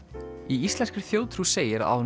í íslenskri þjóðtrú segir að á